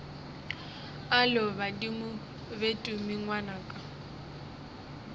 alo badimo be tumi ngwanaka